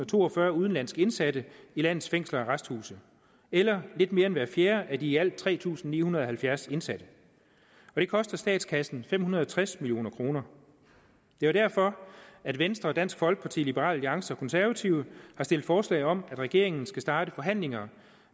to og fyrre udenlandske indsatte i landets fængsler og arresthuse eller lidt mere end hver fjerde af de i alt tre tusind ni hundrede og halvfjerds indsatte og det koster statskassen fem hundrede og tres million kroner det er derfor at venstre dansk folkeparti liberal alliance og konservative har stillet forslag om at regeringen skal starte forhandlinger